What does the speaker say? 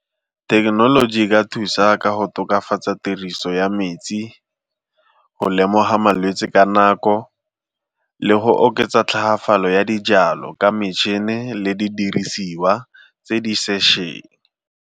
Thekenoloji e ka thusa ka go tokafatsa tiriso ya metsi, go lemoga malwetsi ka nako le go oketsa tlhagafalo ya dijalo ka metšhine le di dirisiwa tse di sešweng.